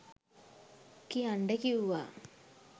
කියන්ඩ කිව්වා.